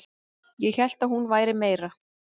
Ég hélt að hún væri meira